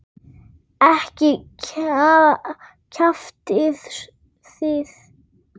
Ekki kjaftið þið.